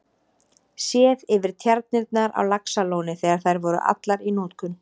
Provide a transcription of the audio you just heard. Séð yfir tjarnirnar á Laxalóni þegar þær voru allar í notkun.